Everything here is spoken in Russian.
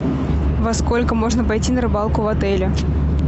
во сколько можно пойти на рыбалку в отеле